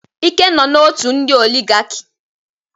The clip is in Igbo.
Ike nọ na ọtú ndị oligaki.